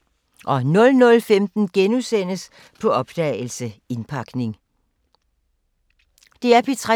DR P3